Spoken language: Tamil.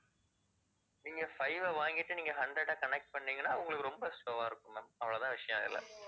நீங்க five வை வாங்கிட்டு நீங்க hundred ஐ connect பண்ணுனீங்கனா, உங்களுக்கு ரொம்ப slow வா இருக்கும் ma'am அவ்வளோதான் விஷயம் அதுல.